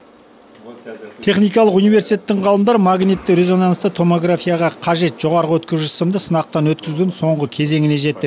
техникалық университеттің ғалымдары магнитті резонансты томографияға қажет жоғарғы өткізгіш сымды сынақтан өткізудің соңғы кезеңіне жетті